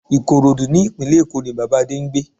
Ìkòròdú ní ìpínlẹ̀ Èkó ní Bàbá Adé ń gbé